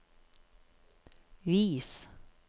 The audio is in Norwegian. vis